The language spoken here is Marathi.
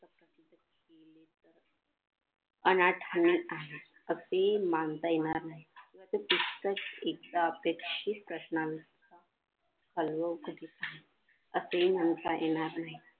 अनाथनिक आहे असे मानता येणार नाही इतकाच एकदा अपेक्षित असणार असेही म्हणता येणार नाही.